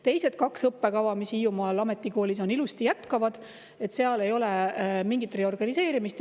Teised kaks õppekava, mis Hiiumaa Ametikoolis on, ilusti jätkavad, seal ei ole mingit reorganiseerimist.